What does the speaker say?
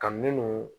Ka minnu